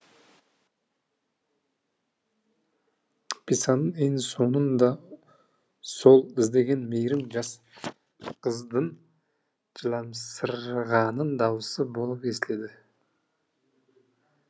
пьесаның ең соңынан да сол іздеген мейірім жас қыздың жыламсыраған дауысы болып естіледі